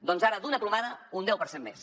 doncs ara d’una plomada un deu per cent més